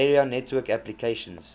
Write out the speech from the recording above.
area network applications